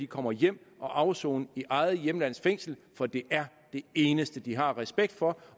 kommer hjem og afsoner i eget hjemlands fængsel for det er det eneste de har respekt for